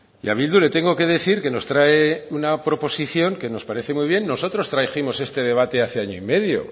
y a bildu le tengo que decir que nos trae una proposición que nos parece muy bien nosotros trajimos este debate hace año y medio